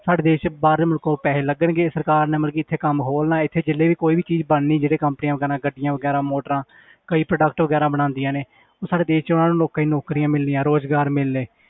ਸਾਡੇ ਦੇਸ 'ਚ ਬਾਹਰਲੇ ਮੁਲਕੋਂ ਪੈਸੇ ਲੱਗਣਗੇ ਸਰਕਾਰ ਨੇ ਮਤਲਬ ਕਿ ਇੱਥੇ ਕੰਮ ਖੋਲਣਾ ਇੱਥੇ ਜਿੰਨੇ ਵੀ ਕੋਈ ਵੀ ਚੀਜ਼ ਬਣਨੀ ਜਿਹੜੇ companies ਵਗ਼ੈਰਾ ਗੱਡੀਆਂ ਵਗ਼ੈਰਾ ਮੋਟਰਾਂ ਕਈ product ਵਗ਼ੈਰਾ ਬਣਾਉਂਦੀਆਂ ਨੇ ਉਹ ਸਾਡੇ ਦੇਸ 'ਚ ਉਹਨਾਂ ਲੋਕਾਂ ਨੂੰ ਨੌਕਰੀਆਂ ਮਿਲਣੀਆਂ ਰੁਜ਼ਗਾਰ ਮਿਲਣੇ